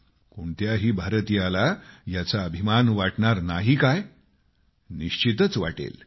कोणत्याही भारतीयाला याचा अभिमान वाटणार नाही काय निश्चितच वाटणार